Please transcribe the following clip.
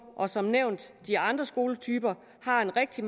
og som nævnt de andre skoletyper har en rigtig